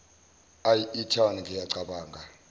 eye etown ngiyacabanga